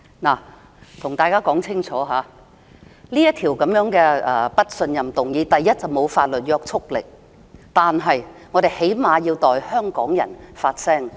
我要向大家說清楚，這項不信任議案沒有法律約束力，但我們最低限度要代香港人發聲。